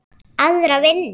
Aðra vinnu?